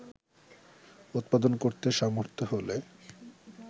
উৎপাদন করতে সমর্থ হলে